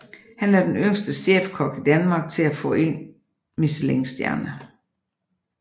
Han er den yngste chefkok i Danmark til at få en Michelin stjerne